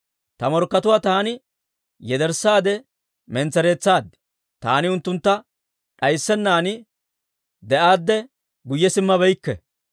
Ta morkkatuwaa taani yederssaade mentsereetsaad; Taani unttuntta d'ayssennan de'aadde guyye simmabeykke.